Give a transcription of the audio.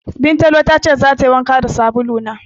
Bintalo ta ce zata yi wanka da sabulu na.